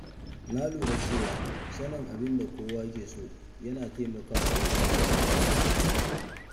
Na lura cewa sanin abin da kowa ke so yana taimakawa wajen zaman lafiya.